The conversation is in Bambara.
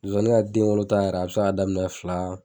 Zonzanni ka denwolo ta yɛrɛ, a bi se ka daminɛ fila